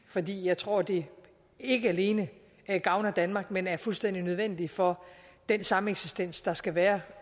fordi jeg tror at det ikke alene gavner danmark men er fuldstændig nødvendigt for den sameksistens der skal være